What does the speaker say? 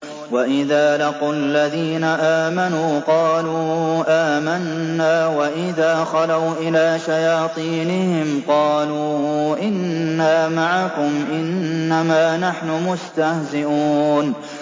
وَإِذَا لَقُوا الَّذِينَ آمَنُوا قَالُوا آمَنَّا وَإِذَا خَلَوْا إِلَىٰ شَيَاطِينِهِمْ قَالُوا إِنَّا مَعَكُمْ إِنَّمَا نَحْنُ مُسْتَهْزِئُونَ